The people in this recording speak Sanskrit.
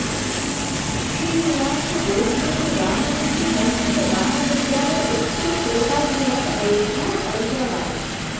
श्री निवास बोधायन रामानुज संस्कृत महाविद्यालय उत्तर तोताद्रिमठ अयोध्या फैजाबाद